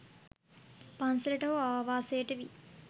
පන්සලට හෝ ආවාසයට වී